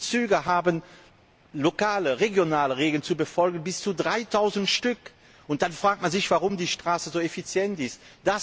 Die Züge haben lokale, regionale Regeln zu befolgen, bis zu 3000 Stück. Und dann fragt man sich, warum die Straße so effizient ist.